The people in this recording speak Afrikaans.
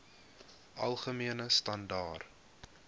algemene standaar